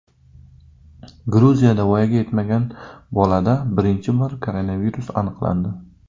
Gruziyada voyaga yetmagan bolada birinchi bor koronavirus aniqlandi.